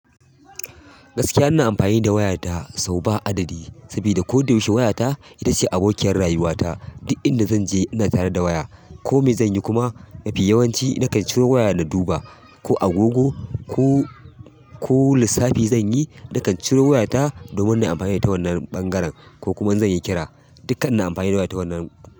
Gaskiya ina amfani da wayata sau ba adadi. Saboda ko da yaushe wayata ita ce abokiyar rayuwata. Duk inda zan je ina tare da waya. Ko me zanyi kuma mafi yawanci na kan ciro waya na duba. Ko agogo, ko, ko lissafi zan yi, na kan ciro wayata domin nayi amfani da ita wannan ɓangaren, ko kuma zan yi kira. Dukka ina amfani da waya ta wannan.